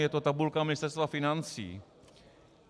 Je to tabulka Ministerstva financí.